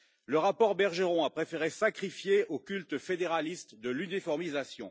Le rapport Bergeron a préféré sacrifier au culte fédéraliste de l'uniformisation.